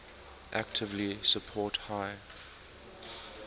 actively support high